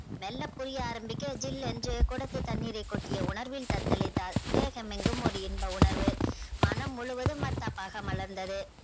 மெல்ல புரிய ஆரம்பிக்க சில் என்று கொடத்தின் தண்ணீரை கொட்டிய உணர்வில் தத்தலிதால் தேகம் எங்கும் ஒரு இன்ப உணர்வு மனம் முழுவதும் மத்தாப்பாக மலர்ந்தது